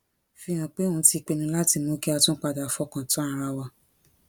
fi hàn pé òun ti pinnu láti mú kí a tún padà fọkàn tán ara wa